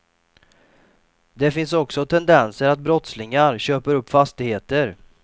Det finns också tendenser att brottslingar köper upp fastigheter.